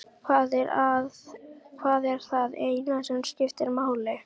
Það er það eina sem skiptir máli.